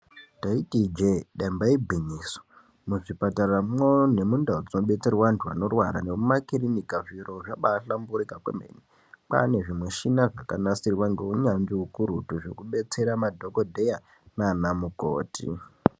Taiti ijee damba igwinyiso muzvipataramwo nemundau dzinobetserwa antu nemumakirinika zviro zvabahlamburika kwemene kwane zvimishina zvakanasirwa ngeunyanzvi ukurutu zvekubetsera madhokodheya nanamukoti.